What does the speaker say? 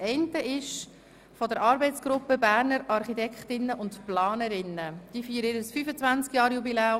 Die Arbeitsgruppe Berner Architektinnen und Planerinnen feiert am 30. November ihr 25-Jahre-Jubiläum.